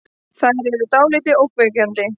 Þær eru dáldið ógnvekjandi.